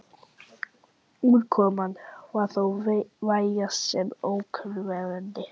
Útkoman var þó vægast sagt ógnvekjandi.